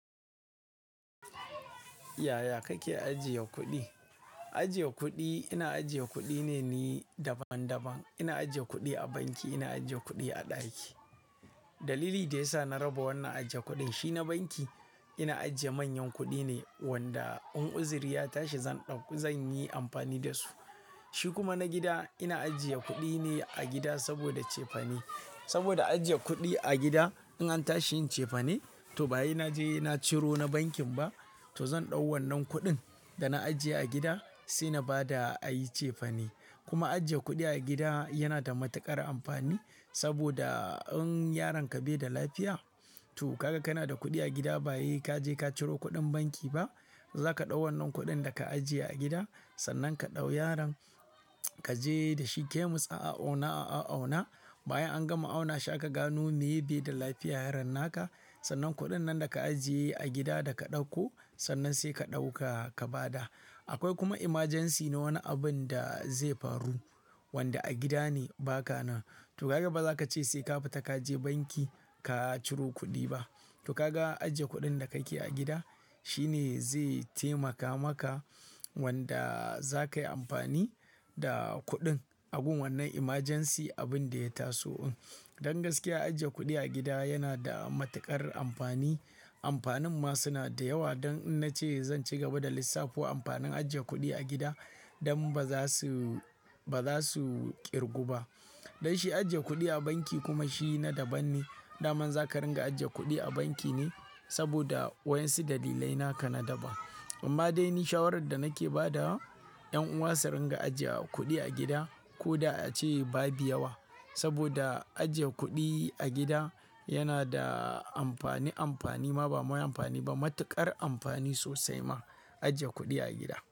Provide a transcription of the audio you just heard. Yaya kake ajiye kuɗi? Ajiye kuɗi, ina ajiye kuɗi ne ni daban daban. Ina ajiye kuɗi a banki, ina ajiye kuɗi a ɗaki. Dalili da ya sa na raba wannan ajje kuɗin, shi na banki ina ajiye manyan kuɗi ne wanda in uzuri ya tashi zan ɗauka, zan yi amfani da su. Shi kuma na gida ina ajiye kuɗi ne a gida saboda cefane. Saboda ajiye kuɗi a gida in an tashi yin cefane to baye na je na ciro na bankin ba, to zan ɗau wannan kuɗin da na ajiye a gida sai na ba da a yi cefane. Kuma ajiye kuɗi a gida yana da matuƙar amfani saboda in yaron ka bai da lafiya to kaga kana da kuɗi a gida bayi ka je ka ciro kuɗin banki ba, za ka ɗau wannan kuɗin da ka ajiye a gida sannan ka ɗau yaron ka je da shi kemis a auna a auna bayan an gama auna shi aka gano meye bai da lafiya yaron naka sannan kuɗin nan da ka ajiye a gida da ka ɗauko sannan sai ka ɗauka ka ba da. Akwai kuma emergency na wani abun da zai faru wanda a gida ne ba ka nan. To kaga ba za ka ce sai ka fita ka je banki ka ciro kuɗi ba. To kaga ajiye kuɗin da kake a gida shine zai taimaka maka wanda za kayi amfani da kuɗin abun wannan emergency abin da ya taso in. Don gaskiya ajiye kuɗi a gida yana da matuƙar amfani. Amfanin ma suna da yawa don in na ce zan ci gaba da lissafu amfanin ajiye kuɗi a gida don ba za su, ba za su ƙirgu ba. Don shi ajiye kuɗi a banki kuma shi na daban ne. Daman za ka ringa ajiye kuɗi a banki ne saboda wayansu dalilai naka na daban. Amma dai ni shawarar da nake ba da wa ƴan uwa su ringa ajiye kuɗi a gida ko da a ce babu yawa saboda ajiye kuɗi a gida yana da amfani amfani ma ba mafi amfani ba matuƙar amfani sosai ma ajiye kuɗi a gida.